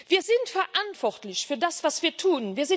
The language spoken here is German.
Wir sind verantwortlich für das, was wir tun.